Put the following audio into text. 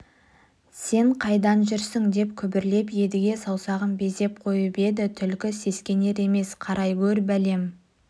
сен қайдан жүрсің деп күбірлеп едіге саусағын безеп қойып еді түлкі сескенер емес қарай гөр бәлем